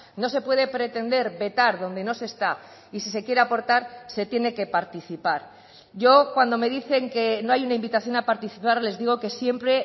no se puede pretender vetar donde no se está y si se quiere aportar se tiene que participar yo cuando me dicen que no hay una invitación a participar les digo que siempre